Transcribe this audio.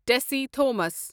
Tessy Thomas